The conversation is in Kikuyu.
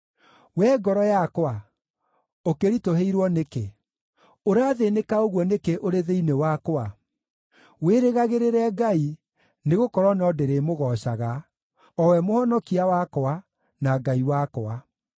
Wee ngoro yakwa, ũkĩritũhĩirwo nĩkĩ? Ũrathĩĩnĩka ũguo nĩkĩ ũrĩ thĩinĩ wakwa? Wĩrĩgagĩrĩre Ngai, nĩgũkorwo no ndĩrĩmũgoocaga, o we Mũhonokia wakwa, na Ngai wakwa.